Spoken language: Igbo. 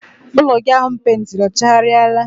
Ụlọ gị ahụ m peentiri ọ chaghariala?